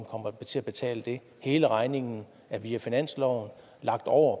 kommer til at betale hele regningen er via finansloven lagt over